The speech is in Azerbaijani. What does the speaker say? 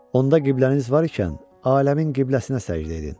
Onda qibləniz var ikən, aləmin qibləsinə səcdə edin.